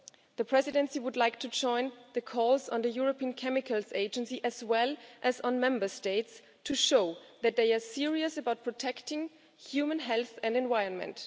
The Presidency would like to join the calls on the European Chemicals Agency, as well as on Member States, to show that they are serious about protecting human health and the environment.